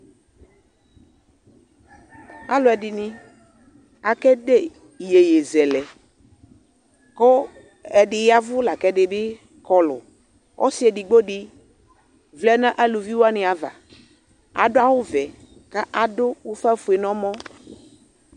Alʋɛdɩnɩ akede iyeyezɛlɛ kʋ ɛdɩ ya ɛvʋ la kʋ ɛdɩ bɩ kɔlʋ Ɔsɩ edigbo dɩ vlɛ nʋ aluvi wanɩ ava Adʋ awʋvɛ kʋ adʋ ʋfafue nʋ ɔmɔ